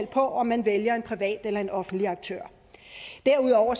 på om man vælger en privat eller en offentlig aktør derudover